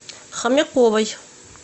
хомяковой